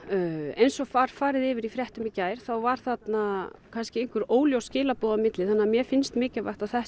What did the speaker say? eins og var farið yfir í fréttum í gær þá voru þarna kannski einhver óljós skilaboð á milli þannig að mér finnst mikilvægt að